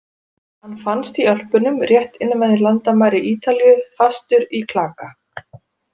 Hann fannst í Ölpunum rétt innan við landamæri Ítalíu, fastur í klaka.